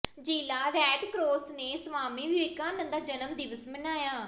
ਜ਼ਿਲ੍ਹਾ red cross ਨੇ ਸਵਾਮੀ ਵਿਵੇਕਾਨੰਦ ਦਾ ਜਨਮ ਦਿਵਸ ਮਨਾਇਆ